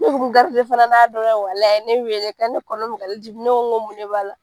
Ne b'u k'u fana n'a dɔ ye walayi, a ye ne wele k'ale kɔnɔ bɛ k'ale dimi ne ko n ko mun de b'a la?